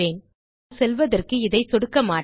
ஆனால் செல்வதற்கு இதை சொடுக்க மாட்டேன்